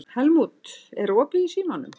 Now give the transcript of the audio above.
Helmút, er opið í Símanum?